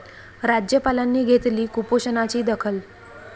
राज्यपालांनी घेतली कुपोषणाची दखल